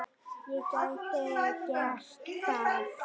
Ég gæti gert það.